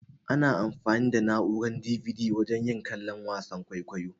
Ana anfani da na'urar "DVD" wajen yin kallon wasan kwaikwayo.